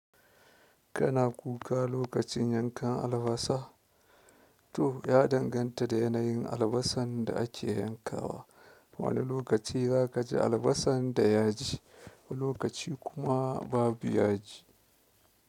Kana kuka lokacin yankan albasa? To ya danganta da yanayin albasan da ake yankawa, wane lokaci za ka ji albasan da ya ji, wani lokaci kuma babu ya ji.